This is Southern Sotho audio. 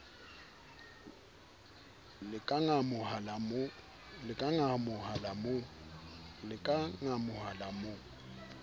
le ka ngamoha la mo